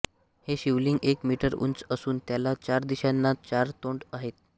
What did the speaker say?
हे शिवलिंग एक मीटर उंच असून त्याला चार दिशांना चार तोंडे आहेत